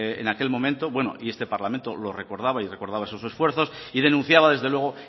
en aquel momento y bueno este parlamento lo recordaba y recordaba sus esfuerzos y denunciaba desde luego